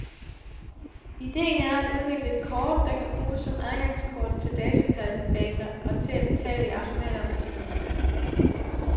Idéen er at udvikle et kort, der kan bruges som adgangskort til databaser og til at betale i automater og butikker med.